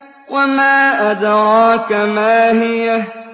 وَمَا أَدْرَاكَ مَا هِيَهْ